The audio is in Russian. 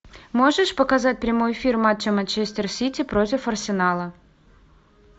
можешь показать прямой эфир матча манчестер сити против арсенала